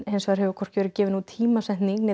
hins vegar hefur hvorki verið gefin út tímasetning né